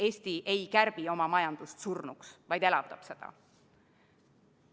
Eesti ei kärbi oma majandust surnuks, vaid elavdab seda.